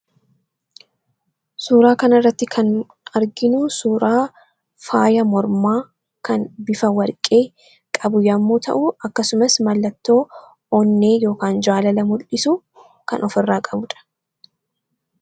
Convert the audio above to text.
Suuraa kan irratti kan arginu suuraa faaya mormaa kan bifa warqee qabu yommuu ta'u akkasumas mallattoo onnee yookaan jaalala mul'isu kan of irraa qabudha.